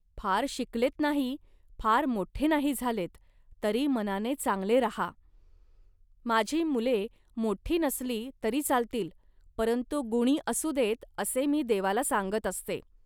फार शिकलेत नाही, फार मोठे नाही झालेत, तरी मनाने चांगले राहा. माझी मुले मोठी नसली तरी चालतील, परंतु गुणी असू देत, असे मी देवाला सांगत असते